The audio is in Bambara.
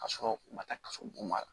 Ka sɔrɔ u ma taa kaso bon ma